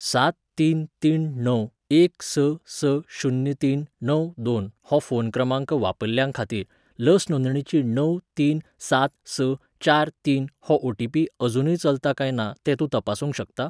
सात तीन तीन णव एक स स शुन्य तीन णव दोन हो फोन क्रमांक वापरतल्यांखातीर लस नोंदणेचो णव तीन सात स चार तीन हो ओ.टी.पी. अजूनय चलता काय ना तें तूं तपासूंक शकता?